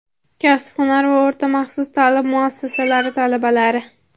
kasb-hunar va o‘rta maxsus ta’lim muassasalari talabalari.